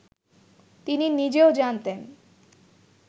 তিনি নিজেও জানতেন